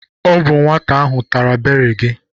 Ọ bụ nwata ahụ tara beri gị.